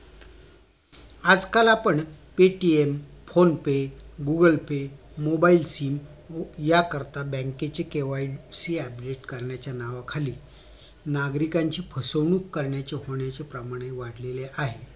आजकाल आपण paytm phone pay google pay mobile sem या करीत बँकेची KYC UPDATE करण्याच्या नावाखाली नागरिकांची फसवणूक करणयाचे होण्याचे प्रमाण हि वाढले आहे